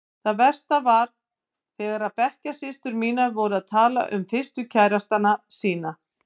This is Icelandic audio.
Það versta var þegar bekkjarsystur mínar voru að tala um fyrstu kærastana sína.